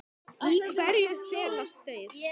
Í hverju felast þeir?